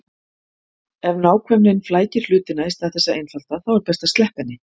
Ef nákvæmnin flækir hlutina í stað þess að einfalda þá er best að sleppa henni.